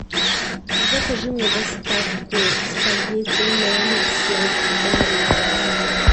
закажи мне доставку спагетти номер семь барилла